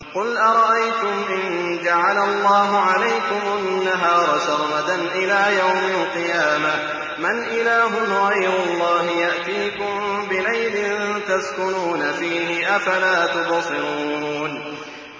قُلْ أَرَأَيْتُمْ إِن جَعَلَ اللَّهُ عَلَيْكُمُ النَّهَارَ سَرْمَدًا إِلَىٰ يَوْمِ الْقِيَامَةِ مَنْ إِلَٰهٌ غَيْرُ اللَّهِ يَأْتِيكُم بِلَيْلٍ تَسْكُنُونَ فِيهِ ۖ أَفَلَا تُبْصِرُونَ